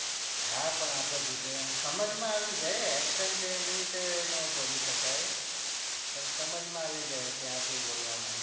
હા પણ આપણે ગુજરાત સમજ માં આવી જાય accent એવી રીતે નો બોલી સકાય પણ સમજ માં આવી જાય કે આ સુ બોલવા માંગે